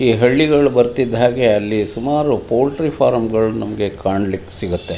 ಈ ಹಳ್ಳಿಗಳಲ್ಲಿ ಬರ್ತಿದ್ದ ಹಾಗೆ ಅಲ್ಲಿ ಸುಮಾರು ಪೌಲ್ಟ್ರೀ ಫಾರಂ ಗಳು ಕಾಣಲಿಕ್ ಸಿಗುತ್ತೆ.